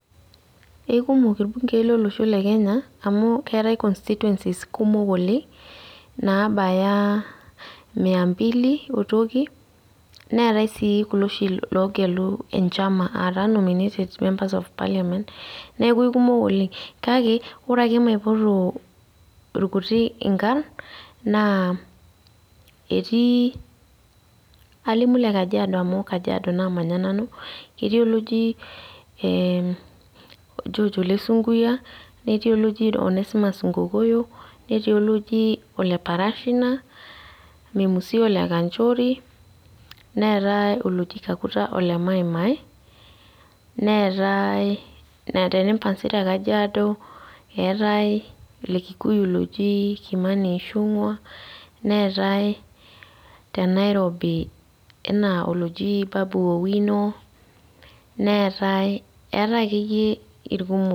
Ekumok irbunkei lolosho le Kenya, amu keetae constituencies kumok oleng nabaya mia mbili otoki, neetae si kulo oshi logelu enchama, ataa nominated members of parliament, neeku aikumok oleng. Kake, ore ake maipoto irkutik inkarn, naa etii kalimu le Kajiado amu Kajiado namanya nanu, ketii oloji George Ole Sunkuyia, netii oloji Onesmus Nkokoyo, netii oloji Ole Parashina, Memusi Ole Kanchori, neetae oloji Kakuta Ole Maimai, neetae, netae Rempasi te Kajiado, eetae ole Kikuyu loji Kimani Ichungwa, neetae te Nairobi enaa oloji Babu Owino, neetae, eetae akeyie irkumok.